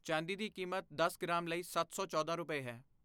ਚਾਂਦੀ ਦੀ ਕੀਮਤ ਦਸ ਗ੍ਰਾਮ ਲਈ ਸੱਤ ਸੌ ਚੌਦਾਂ ਰੁਪਏ ਹੈ